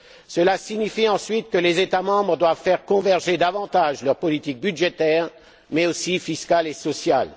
Cela signifie ensuite que les États membres doivent faire converger davantage leurs politiques budgétaires mais aussi fiscales et sociales.